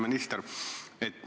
Hea minister!